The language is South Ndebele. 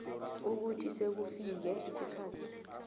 ukuthi sekufike isikhathi